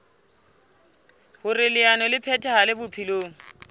hoer leano le phethahale bophelong